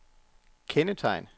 kendetegn